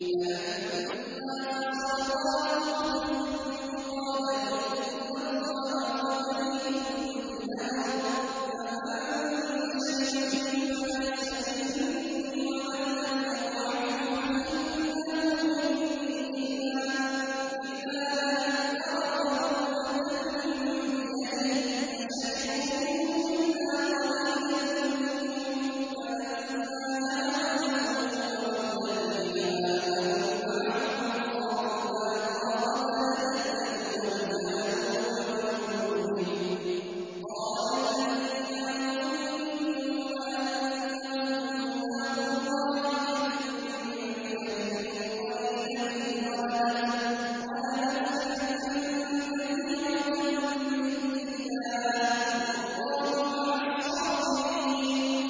فَلَمَّا فَصَلَ طَالُوتُ بِالْجُنُودِ قَالَ إِنَّ اللَّهَ مُبْتَلِيكُم بِنَهَرٍ فَمَن شَرِبَ مِنْهُ فَلَيْسَ مِنِّي وَمَن لَّمْ يَطْعَمْهُ فَإِنَّهُ مِنِّي إِلَّا مَنِ اغْتَرَفَ غُرْفَةً بِيَدِهِ ۚ فَشَرِبُوا مِنْهُ إِلَّا قَلِيلًا مِّنْهُمْ ۚ فَلَمَّا جَاوَزَهُ هُوَ وَالَّذِينَ آمَنُوا مَعَهُ قَالُوا لَا طَاقَةَ لَنَا الْيَوْمَ بِجَالُوتَ وَجُنُودِهِ ۚ قَالَ الَّذِينَ يَظُنُّونَ أَنَّهُم مُّلَاقُو اللَّهِ كَم مِّن فِئَةٍ قَلِيلَةٍ غَلَبَتْ فِئَةً كَثِيرَةً بِإِذْنِ اللَّهِ ۗ وَاللَّهُ مَعَ الصَّابِرِينَ